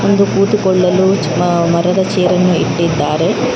ಬಂದು ಕುಳಿತುಕೊಳ್ಳಲು ಮರದ ಚೇರ ಅನ್ನು ಇಟ್ಟಿದ್ದಾರೆ.